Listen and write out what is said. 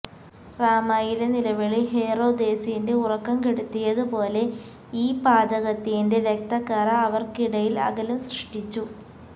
റാമായിലെ നിലവിളി ഹേറോദേസിന്റെ ഉറക്കം കെടുത്തിയതുപോലെ ഈ പാതകത്തിന്റെ രക്തക്കറ അവർക്കിടയിൽ അകലം സൃഷ്ടിച്ചു